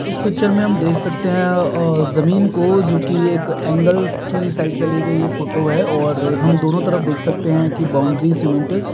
इस पिक्चर में हम देख सकते हैं अ जमीन को जोकि एक एंगल की साइड से ली गई ये फोटो है और हम दोनों तरफ देख सकते हैं कि बॉउंड्री सीमेंटेड --